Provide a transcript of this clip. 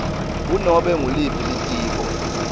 kunobe nguliphi litiko